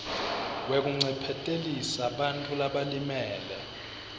wekuncephetelisa bantfu labalimele